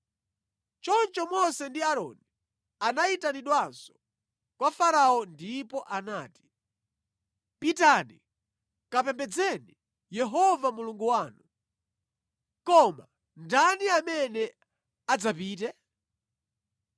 Choncho Mose ndi Aaroni anayitanidwanso kwa Farao ndipo anati, “Pitani kapembedzeni Yehova Mulungu wanu. Koma ndani amene adzapite?”